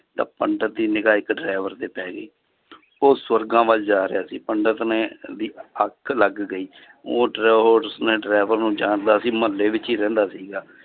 ਤਾਂ ਪੰਡਿਤ ਦੀ ਨਿਗ੍ਹਾ ਇੱਕ driver ਤੇ ਪੈ ਗਈ ਉਹ ਸਵਰਗਾਂ ਵੱਲ ਜਾ ਰਿਹਾ ਸੀ ਪੰਡਿਤ ਨੇ ਵੀ ਅੱਗ ਲੱਗ ਗਈ ਉਹ ਉਸਨੇ driver ਨੂੰ ਜਾਣਦਾ ਸੀ ਮੁਹੱਲੇ ਵਿੱਚ ਹੀ ਰਹਿੰਦਾ ਸੀਗਾ